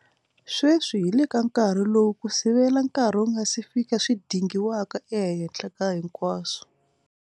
Sweswi hi le ka nkarhi lowu ku sivela nkarhi wu nga si fika swi dingiwaka ehenhla ka hinkwaswo.